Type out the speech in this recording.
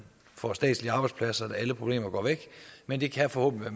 får statslige arbejdspladser går alle problemer væk men det kan forhåbentlig